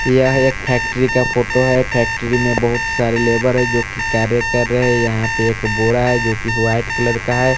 यह एक फैक्ट्री का फोटो है फैक्ट्री मे बहुत सारे लेबर है जो की कार्य कर हरे है यहाँ पे एक बूढ़ा है जो की व्हाइट कलर का है ।